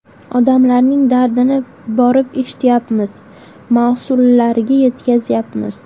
Odamlarning dardini borib eshityapmiz, mas’ullarga yetkazyapmiz.